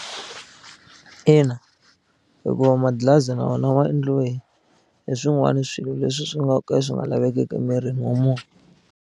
Ina, hikuva madlilazi na wona ma endliwe hi swin'wana swilo leswi swi nga ka swi nga lavekeki emirini wa munhu.